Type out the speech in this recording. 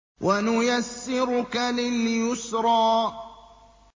وَنُيَسِّرُكَ لِلْيُسْرَىٰ